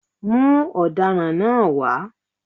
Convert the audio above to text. Mú ọ̀daràn náà wá.